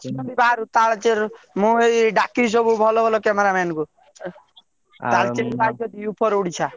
ମୁଁ ଏଇ ଡାକିବି ସବୁ ଭଲ ଭଲ camera man କୁ।